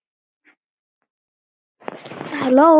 Hefur þú.?